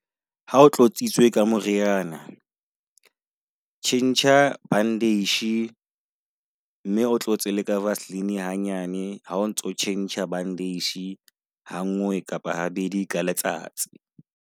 Ha o tlotsitsweng ka moriana, tjhentjha bandage mme o tlo tse ka vaseline hanyane ha o ntso tjhentjha bandage. Hangwe kapa ha bedi ka letsatsi.